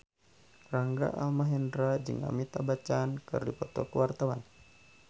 Rangga Almahendra jeung Amitabh Bachchan keur dipoto ku wartawan